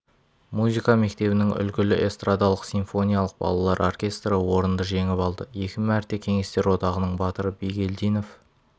музыка мектебінің үлгілі эстрадалық-симфониялық балалар оркестрі орынды жеңіп алды екі мәрте кеңестер одағының батыры бигелдинов